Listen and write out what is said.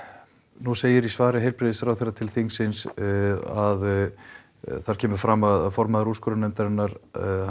nú segir í svari heilbrigðisráðherra til þingsins að þar kemur fram að formaður úrskurðarnefndarinnar